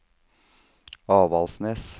Avaldsnes